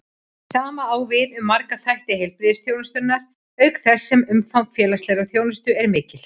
Sama á við um marga þætti heilbrigðisþjónustunnar, auk þess sem umfang félagslegrar þjónustu er mikið.